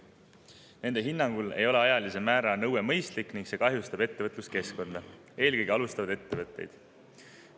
Nende hinnangul ei ole ajalise määra nõue mõistlik ning see kahjustab ettevõtluskeskkonda, eelkõige alustavaid ettevõtteid.